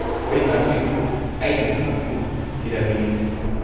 -ꯍꯣꯏ, ꯃꯥꯗ꯭ꯔꯤ, ꯑꯩꯅ ꯅꯍꯥꯛꯄꯨ ꯊꯤꯔꯝꯃꯤꯅꯤ꯫